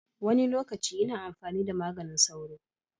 Wani lokaci ina amfani da maganin sauro.